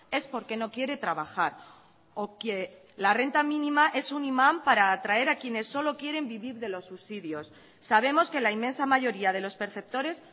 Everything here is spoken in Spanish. es porque no quiere trabajar o que la renta mínima es un imán para atraer a quienes solo quieren vivir de los subsidios sabemos que la inmensa mayoría de los perceptores